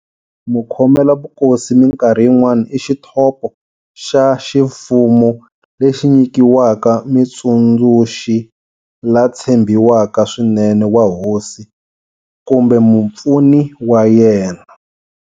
Mukhomela vukosi minkarhi yin'wana i xithopo xa ximfumo lexi nyikiwaka mutsundzuxi la tshembiwaka swinene wa hosi kumbe"mupfuni" wa yena.